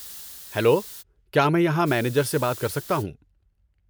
Hello, کیا میں یہاں مینیجر سے بات کر سکتا ہوں؟